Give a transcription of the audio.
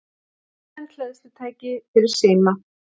Samræmd hleðslutæki fyrir síma